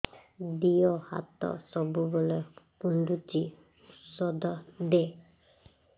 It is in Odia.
ଦିହ ହାତ ସବୁବେଳେ କୁଣ୍ଡୁଚି ଉଷ୍ଧ ଦେ